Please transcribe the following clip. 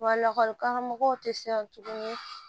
Wa lakɔlikaramɔgɔw tɛ se tuguni